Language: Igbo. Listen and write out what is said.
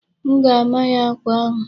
M ga-ama ya akwa n'ahụ.